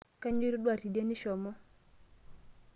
Kainyoo itodua teidie nishomo?